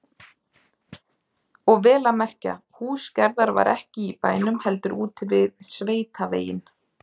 Og vel að merkja, hús Gerðar var ekki í bænum heldur úti við sveitaveginn.